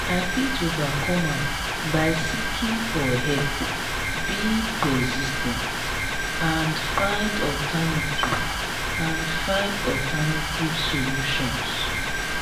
i fit overcome am by seeking for help being persis ten t and find alternative and find alternative solutions.